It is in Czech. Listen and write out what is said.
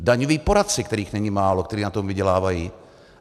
Daňoví poradci, kterých není málo, kteří na tom vydělávají.